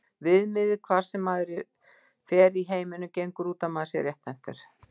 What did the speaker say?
Viðmiðið, hvar sem maður fer í heiminum, gengur út á að maður sé rétthentur.